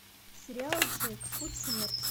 сериал джек путь смерти